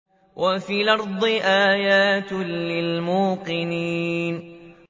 وَفِي الْأَرْضِ آيَاتٌ لِّلْمُوقِنِينَ